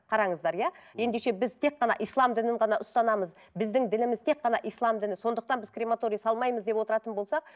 қараңыздар иә ендеше біз тек қана ислам дінін ғана ұстанамыз біздің дініміз тек қана ислам діні сондықтан біз крематория салмаймыз деп отыратын болсақ